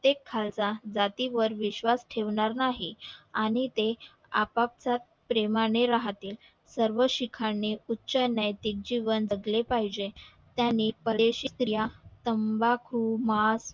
ते खालसा जातीवर विश्वास ठेवणार नाही आणि ते आपाप साथ प्रेमा नि राहतील सर्व शिखांनी उच्चालय चे जीवन जगले पाहिजे त्यानी परेशीक या तंबाकू मा